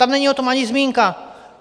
Tam není o tom ani zmínka.